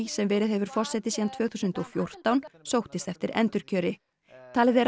sem verið hefur forseti síðan tvö þúsund og fjórtán sóttist eftir endurkjöri talið er